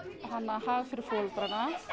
hag fyrir foreldrar